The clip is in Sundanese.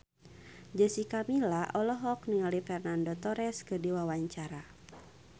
Jessica Milla olohok ningali Fernando Torres keur diwawancara